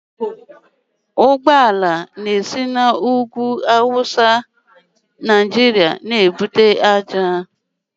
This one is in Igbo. Ụgbọala na-esi n'ugwu Awụsa Naijiria ebute ngwaahịa